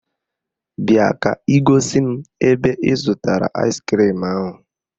Bịa ka ị gosi m ebe ị zụtara aịskrim ahụ